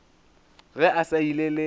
ge a sa ile le